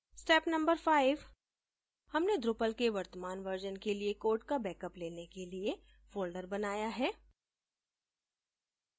step no 5: हमने drupal के वर्तमान वर्जन के लिए कोड का बेकअप लेने के लिए फोल्डर बनाया है